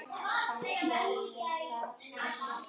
Samt segir það sig sjálft.